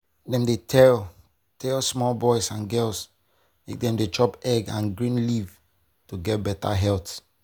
dem dey tell tell small boys and girls make dem dey chop egg and green leaf to get beta health.